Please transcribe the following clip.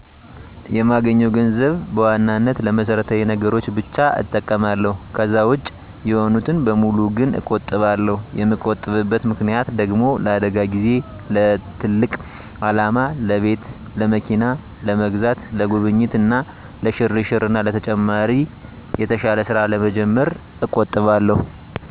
የማገኘውን ገንዘብ በዋናነት ለመሰረታዊ ነገሮች ብቻ እጠቀማለሁ። ከዛ ውጭ የሆኑትን በሙሉ ግን እቆጥባለሁ። የምቆጥብበት ምክንያት ደግሞ ለአደጋ ጊዜ፣ ለትልቅ አላማ ለቤት፣ ለመኪና ለመግዛት፣ ለጉብኝት እና ለሽርሽር እና ተጨማሪ የተሻለ ስራ ለመጀመር እቆጥባለሁ።